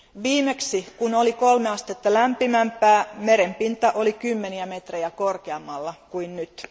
Viimeksi kun oli kolme astetta lämpimämpää, merenpinta oli kymmeniä metrejä korkeammalla kuin nyt.